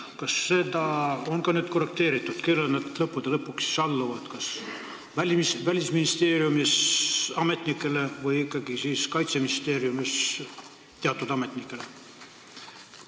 Kas seda on ka nüüd korrigeeritud, kellele nad lõppude lõpuks alluvad, kas Välisministeeriumi ametnikele või ikkagi Kaitseministeeriumi teatud ametnikele?